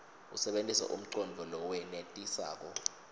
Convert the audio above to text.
usebentise umcondvo lowenetisako